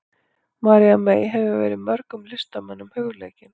María mey hefur verið mörgum listamönnum hugleikin.